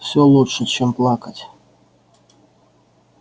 все лучше чем плакать